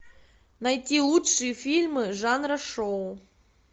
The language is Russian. найти лучшие фильмы жанра шоу